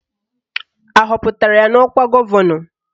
Ahọpụtara ya n'ọkwa gọvanọ?